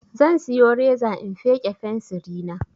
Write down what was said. Zan siyo reza in feƙe fensiri na